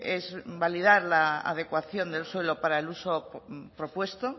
es validar la adecuación del suelo para el uso propuesto